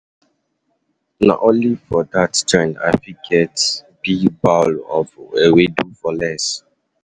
Na only for dat joint I fit get big bowl um of ewedu for less.